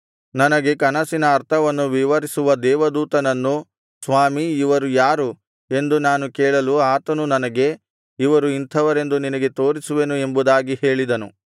ನನಗೆ ಕನಸಿನ ಅರ್ಥವನ್ನು ವಿವರಿಸುವ ದೇವದೂತನನ್ನು ಸ್ವಾಮಿ ಇವರು ಯಾರು ಎಂದು ನಾನು ಕೇಳಲು ಆತನು ನನಗೆ ಇವರು ಇಂಥವರೆಂದು ನಿನಗೆ ತೋರಿಸುವೆನು ಎಂಬುದಾಗಿ ಹೇಳಿದನು